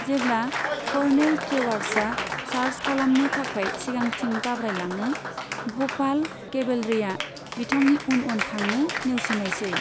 जेब्ला कर्नेल ट्रेवार्सआ चार्ज खालामनो थाखाय सिगांथिं दाब्रायलाङो, भ'पाल केभेलरिआ बिथांनि उन उन थांनो नेवसिनायसै।